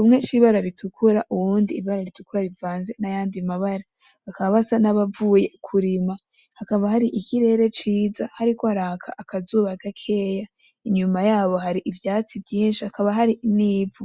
umwe c,ibara ritukura uwundi ibara ritukura rivanze nayandi mabara bakaba basa nabavuye kurima hakaba hari ikirere ciza hariko haraka akazuba gakeya inyuma yabo ivyatsi vyinshi hakaba hari n,ivu.